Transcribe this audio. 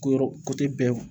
Ko yɔrɔ bɛɛ wo